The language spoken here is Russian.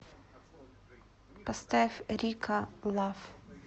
поставь рико лав